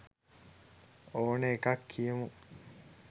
ඕන එකක් කියමු.